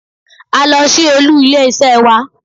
A lọ sí olú ilé isé wa